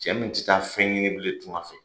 Cɛ min tɛ taa fɛn ɲini bilen tunga fɛ